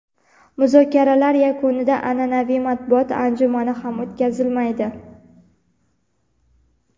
Muzokaralar yakunida an’anaviy matbuot anjumani ham o‘tkazilmaydi.